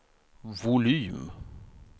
volym